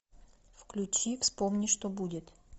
включи вспомни что будет